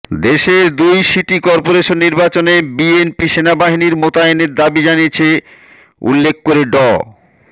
দেশের দুই city corporation নির্বাচনে বিএনপি সেনাবাহিনী মোতায়েনের দাবি জানিয়েছে উল্লেখ করে ড